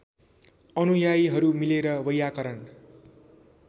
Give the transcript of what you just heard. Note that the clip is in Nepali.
अनुयायीहरू मिलेर वैयाकरण